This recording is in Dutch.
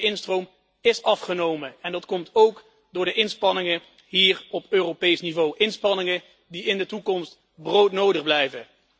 Want die instroom ís afgenomen, en dat komt ook door de inspanningen hier op Europees niveau, inspanningen die in de toekomst broodnodig blijven.